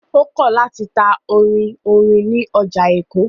Ó kọ̀ láti ta orin orin ní ọjà Èkó.